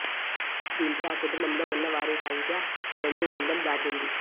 దీంతో ఆ కుటుంబంలో ఉన్న వారి సంఖ్య రెండు వందలు దాటింది